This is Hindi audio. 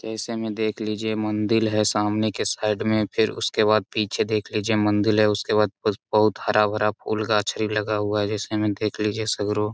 जैसे में देख लीजिए मंदिल है। सामने के साइड में फिर उसके बाद पीछे देख लीजिए मंदिल है। उसके बाद बहुत हरा-भरा फुल गाछ लगा हुआ है। जैसे में देख लीजिए --